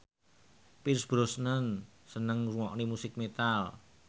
Pierce Brosnan seneng ngrungokne musik metal